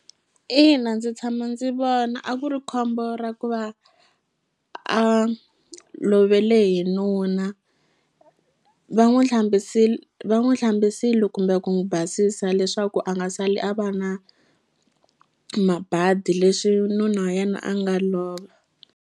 Ina ndzi tshama ndzi vona a ku ri khombo ra ku va a lovele hi nuna va n'wu hlambisile va n'wu hlambisile kumbe ku n'wu basisa leswaku a nga sali a va na mabadi leswi nuna wa yena a nga lova.